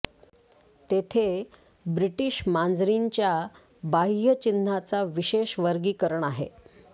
तेथे ब्रिटिश मांजरींच्या बाह्य चिन्हाचा विशेष वर्गीकरण आहे